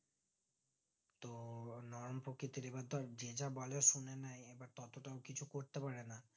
নরম প্রকৃতির এবার ধর যেটা বলে শুনে নেই ততোটাও কিছু করতে পারে না